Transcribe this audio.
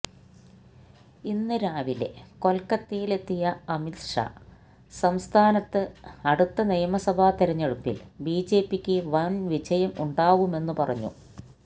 ഇന്ന് രാവിലെ കൊൽക്കത്തയിലെത്തിയ അമിത് ഷാ സംസ്ഥാനത്ത് അടുത്ത നിയമസഭാ തിരഞ്ഞെടുപ്പിൽ ബിജെപിക്ക് വൻ വിജയം ഉണ്ടാവുമെന്ന് പറഞ്ഞു